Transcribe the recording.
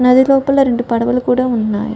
నది లోపల రెండు పడవలు కూడా ఉన్నాయి.